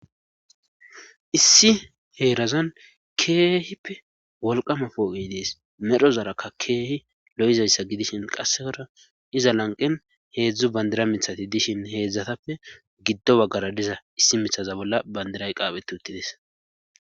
issi heerazan keehipe wolqama pooqe dees medhozarakka keehi lo7izayssa gidishin qassekora iza lanqen heedzdzu bandira mithati dishin heedzdzatappe giddo baggara diza issi mithaza bolla bandiray qaaphe t uttides